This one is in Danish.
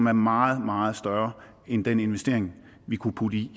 er meget meget større end den investering vi kunne putte i